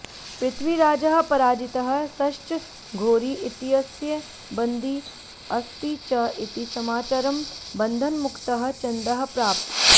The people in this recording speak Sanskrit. पृथ्वीराजः पराजितः सश्च घोरी इत्यस्य बन्दी अस्ति च इति समाचारं बन्धनमुक्तः चन्दः प्रापत्